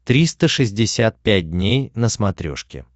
триста шестьдесят пять дней на смотрешке